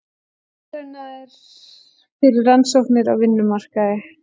Verðlaunaðir fyrir rannsóknir á vinnumarkaði